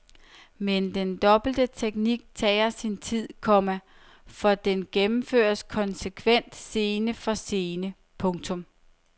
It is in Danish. Men den dobbelte teknik tager sin tid, komma for den gennemføres konsekvent scene for scene. punktum